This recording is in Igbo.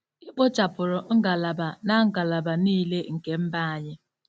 E kpochapụrụ ngalaba na ngalaba niile nke mba anyị....